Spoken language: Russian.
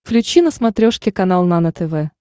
включи на смотрешке канал нано тв